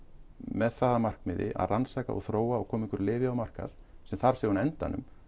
með það að markmiði að rannsaka og þróa og koma einhverju lyfi á markað sem þarf síðan á endanum